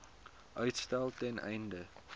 uitstel ten einde